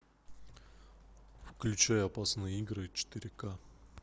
включай опасные игры четыре к